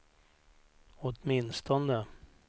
åtminstone